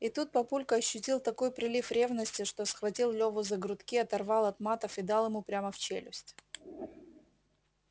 и тут папулька ощутил такой прилив ревности что схватил леву за грудки оторвал от матов и дал ему прямо в челюсть